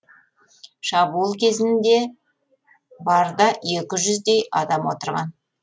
шабуыл кезінде барда екі жүздей адам отырған